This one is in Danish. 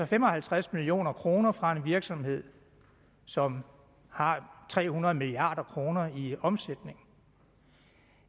fem og halvtreds million kroner fra en virksomhed som har tre hundrede milliard kroner i omsætning